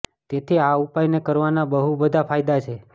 તેથી આ ઉપાય ને કરવાના બહુ બધા ફાયદા છે